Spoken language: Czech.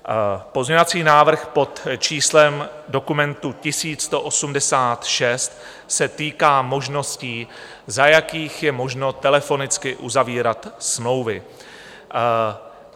Pozměňovací návrh pod číslem dokumentu 1186 se týká možností, za jakých je možno telefonicky uzavírat smlouvy.